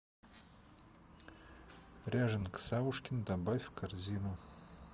ряженка савушкин добавь в корзину